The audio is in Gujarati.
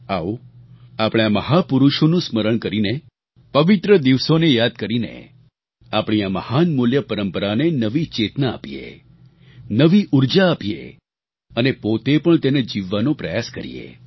આવો આપણે આ મહાપુરુષોનું સ્મરણ કરીને પવિત્ર દિવસોને યાદ કરીને આપણી આ મહાન મૂલ્ય પરંપરાને નવી ચેતના આપીએ નવી ઊર્જા આપીએ અને પોતે પણ તેને જીવવાનો પ્રયાસ કરીએ